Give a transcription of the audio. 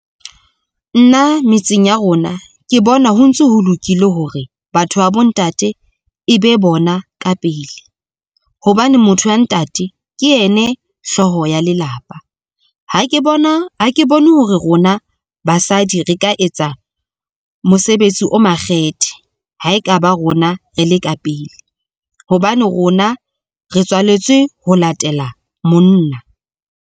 Nna metseng ya rona ke bona ho ntso ho lokile hore batho ba bo ntate e be bona ka pele, hobane motho wa ntate ke ene hlooho ya lelapa. Ha ke bone hore rona basadi re ka etsa mosebetsi o makgethe ha ekaba rona re le ka pele, hobane rona re tswaletswe ho latela monna.